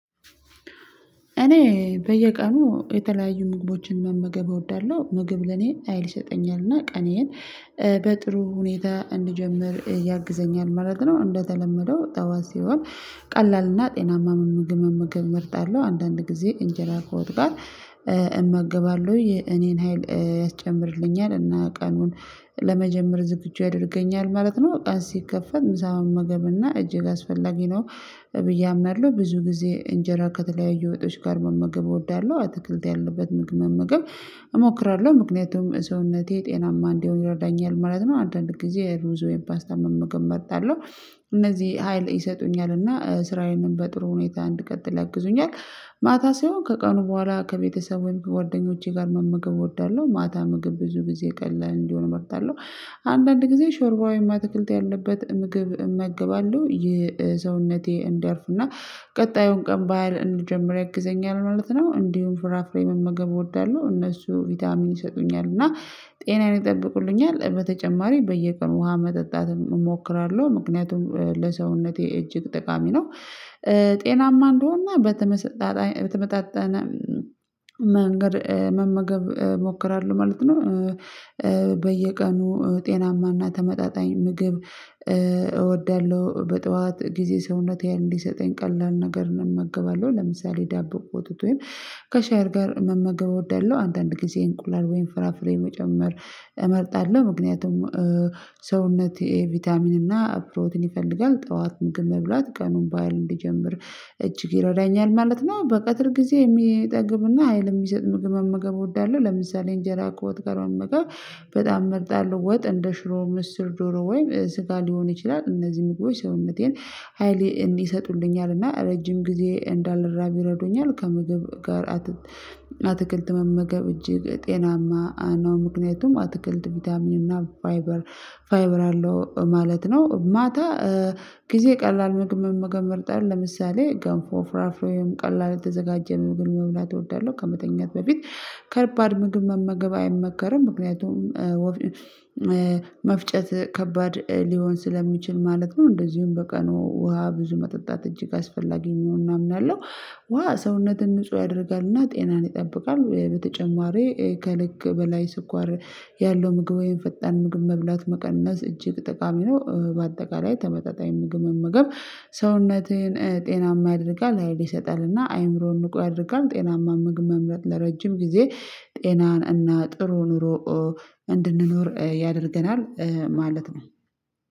እኔ በየቀኑ የተለያዩ ምግቦችን መመገብ እወዳለሁ ምግብ ለኔ ሀይል ይሰጠኛል እና ቀኔን በጥሩ ሁኔታ እንድጀምር ያግዘኛል ማለት ነው። እንደተለመደው ጠዋት ሲሆን ቀላልና ጤናማ ምግብ መመገብ እመርጣለሁ አንዳንድ ጊዜ እንጀራ ከወጥ እመገባለሁ የኔን ሀይል ያስጨምርልኛል እና ቀኑን ለመጀመር ዝግጁ ያደርገኛል ማለት ነው። ቀን ሲከፈት ምሳ መመገብና እጅግ አስፈላጊ ነው ብዬ አምናለሁ ብዙ ጊዜ እንጀራ ከተለያዩ ወጦች ጋር መመገብ እወዳለሁ አትክልት ያለበት ምግብ መመገብ እሞክራለሁ ምክንያቱም ሰውነቴ ጤናማ እንዲሆን ይረዳኛል ማለት ነው። አንዳንድ ጊዜ ሩዝ ወይም ፓስታ መመገብ እመርጣለሁ እነዚህ ሀይል ይሰጡኛል እና ስራዬንም በጥሩ ሁኔታ እንድቀጥል ያግዙኛል። ማታ ሳይሆን ከቀኑ በኋላ ከቤተሰብ ወይም ከጓደኞቼ ጋር መመገብ እወዳለሁ ማታ ምግብ ብዙ ጊዜ ቀላል እንዲሆን እመርጣለሁ አንዳንድ ጊዜ ሾርባ ወይም አትክልት ያለበት ምግብ እመግባለሁ ይህ ሰውነቴ እንዲያርፍና ቀጣዩን ቀን በሃይል እንድጀምር ያግዘኛል ማለት ነው። እንዲሁም ፍራፍሬ መመገብ እወዳለሁ እነሱ ቪታሚን ይሰጡኛል እና ጤናዬን ይጠብቁልኛል በተጨማሪ በየቀኑ ውሃ መጠጣት እሞክራለሁ ምክንያቱም ለሰውነቴ እጅግ ጠቃሚ ነው። ጤናማ እንድሆንና በተመጣጠነ መንገድ መመገብ እሞክራለሁ ማለት ነው። በየቀኑ ጤናማና ተመጣጣኝ ምግብ እወዳለሁ በጠዋት ጊዜ ሰውነቴ ሀይል እንዲሰጠኝ ቀላል ነገርን እመገባለሁ ለምሳሌ ዳቦ ቁጥጦዬኝ ከሻይ ጋር መመገብ እወዳለሁ አንዳንድ ጊዜ እንቁላል ወይም ፍራፍሬ መጨመር እመርጣለሁ ምክንያቱም ሰውነቴ ቫይታሚን እና ፕሮቲን ይፈልጋል ጠዋት ምግብ መብላት ቀኑን በሃይል እንድጀምር እጅግ ይረዳኛል ማለት ነው። በቀትር ጊዜ የሚያጠግብ እና ሀይል የሚሰጥ ምግብ መመገብ እወዳለሁ ለምሳሌ እንጀራ ከወጥ ከመመገብ በጣም እመርጣለሁ ወጥ እንደ ሽሮ ምስር ዶሮ ወይም ስጋ ሊሆን ይችላል። እነዚህ ምግቦች ሰውነቴን ሀይል ይሰጡልኛል እና ረጅም ጊዜ እንዳልራብ ይረዱኛል ከምግብ ጋር አትክልት መመገብ እጅግ ጤናማ ነው ምክንያቱም አትክልት ቫይታሚን እና ፋይበር አለው ማለት ነው። ማታ ጊዜ ቀላል ምግብ መመገብ እመርጣለሁ ለምሳሌ ገንፎ ፍራፍሮ ወይም ቀላል የተዘጋጀ ምግብ መብላት እወዳለሁ ከመተኛቴ በፊት ከባድ ምግብ መመገብ አይመከርም ምክንያቱም መፍጨት ከባድ ሊሆን ስለሚችል ማለት ነው። እንደዚሁም በቀኑ ውሃ ብዙ መጠጣት እጅግ አስፈላጊ መሆኑን አምናለሁ። ውሃ ሰውነትን ንጹህ ያደርጋልና ጤናን ይጠብቃል። በተጨማሪ ከልክ በላይ ስኳር ያለው ምግብ ወይም ፈጣን ምግብ መብላት መቀነስ እጅግ ጠቃሚ ነው። በአጠቃላይ ተመጣጣኝ ምግብ መመገብ ሰውነትህን ጤናማ ያደርጋል ሀይል ይሰጣል እና አእምሮን ንቁ ያደርጋል ጤናማ መምረጥ ለረጅም ጊዜ ጤናን እና ጥሩ ኑሮ እንድንኖር ያደርገናል ማለት ነው።